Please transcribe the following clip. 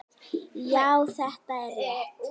Já, þetta er rétt.